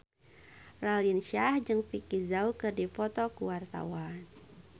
Raline Shah jeung Vicki Zao keur dipoto ku wartawan